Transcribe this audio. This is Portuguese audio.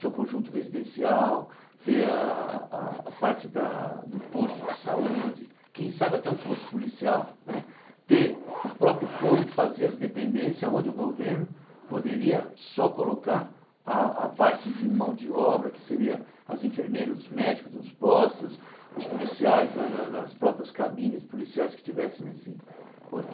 seu conjunto residencial, ter a a parte do posto de saúde, quem sabe até um posto policial né, ter o próprio povo fazer as dependências onde o governo poderia só colocar a a parte de mão de obra, que seria as enfermeiras, os médicos nos postos, os policiais na na nas próprias cabines policiais que tivessem nesse